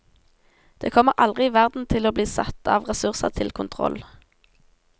Det kommer aldri i verden til å bli satt av ressurser til kontroll.